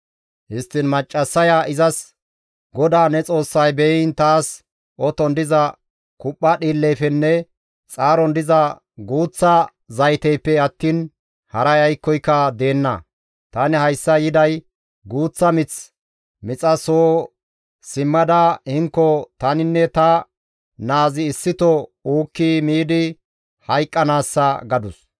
Histtiin maccassaya izas, «GODAA ne Xoossay beyiin taas oton diza kuphpha dhiilleyfenne xaaron diza guuththa zayteyppe attiin haray aykkoyka deenna. Tani hayssa yiday guuththa mith mixa soo simmada hinnoka taninne ta naazi issito uukki miidi hayqqanaassa» gadus.